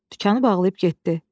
Dükanı bağlayıb getdi.